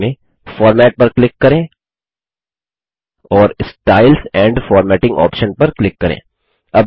फिर menu bar में format पर क्लिक करें और स्टाइल्स एंड फॉर्मेटिंग ऑप्शन पर क्लिक करें